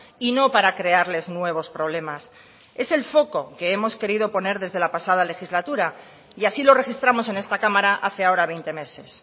y no para crearles nuevos problemas es el foco que hemos querido poner desde la pasada legislatura y así lo registramos en esta cámara hace ahora veinte meses